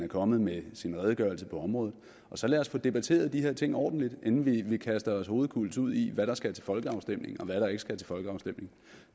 er kommet med sin redegørelse på området så lad os få debatteret de her ting ordentligt inden vi kaster os hovedkulds ud i hvad der skal til folkeafstemning og hvad der ikke skal til folkeafstemning